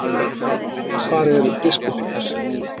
Hvar er biskupinn?